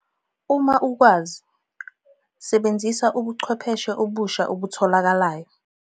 Uma ukwazi, sebenzisa ubuchwepheshe obusha obutholakayo!